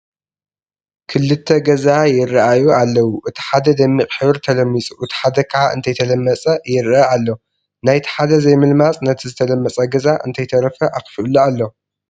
ክልተ ገዛ ይረአዩ ኣለዉ፡፡ እቲ ሓደ ደሚቕ ሕብሪ ተለሚፁ እታ ሓደ ከዓ እንተይተለመፀ ይርአ ኣሎ፡፡ ናይቲ ሓደ ዘይምልማፅ ነቲ ዝተለመፀ ገዛ እንተይተረፈ ኣኽፊኡሉ ኣሎ፡፡